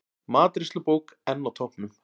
Matreiðslubók enn á toppnum